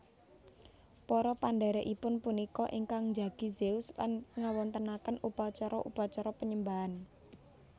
Para pendhèrèkipun punika ingkang njagi Zeus lan ngawontenaken upacara upacara panyembahan